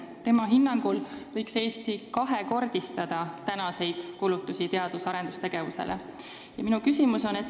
Tema hinnangul võiks Eesti kulutusi teadus- ja arendustegevusele kahekordistada.